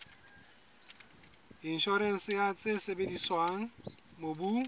inshorense ya tse sebediswang mobung